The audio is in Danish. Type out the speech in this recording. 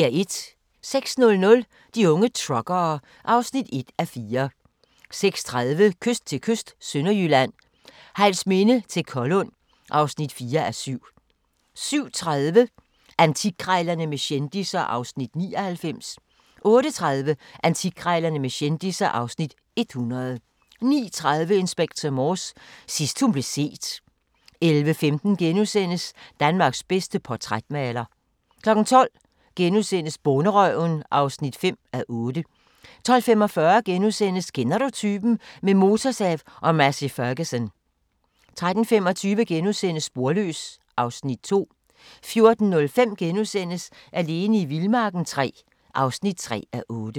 06:00: De unge truckere (1:4) 06:30: Kyst til kyst – Sønderjylland, Hejlsminde til Kollund (4:7) 07:30: Antikkrejlerne med kendisser (Afs. 99) 08:30: Antikkrejlerne med kendisser (Afs. 100) 09:30: Inspector Morse: Sidst hun blev set 11:15: Danmarks bedste portrætmaler (5:6)* 12:00: Bonderøven (5:8)* 12:45: Kender du typen? – med motorsav og Massey Ferguson * 13:25: Sporløs (Afs. 2)* 14:05: Alene i vildmarken III (3:8)*